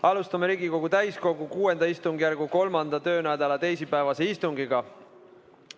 Alustame Riigikogu täiskogu VI istungjärgu 3. töönädala teisipäevast istungit.